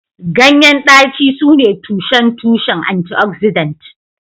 Ganyen daci sune tushen tushen antioxidant